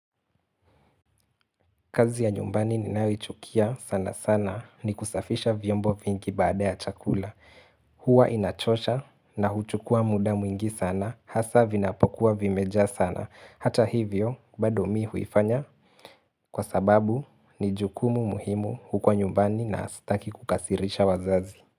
Kazi ya nyumbani ni naichukia sana sana ni kusafisha vyombo vingi baada ya chakula. Huwa inachosha na huchukua muda mwingi sana hasa vinapokuwa vimeja sana. Hata hivyo, bado mi huifanya kwa sababu ni jukumu muhimu huko nyumbani na ataki kukasirisha wazazi.